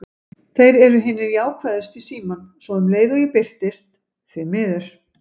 Þeir eru hinir jákvæðustu í símann, svo um leið og ég birtist: því miður.